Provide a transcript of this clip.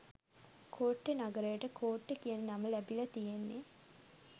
කෝට්ටෙ නගරයට කෝට්ටේ කියන නම ලැබිලා තියෙන්නෙ